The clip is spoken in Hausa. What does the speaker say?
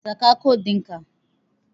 Saka kot ɗinka.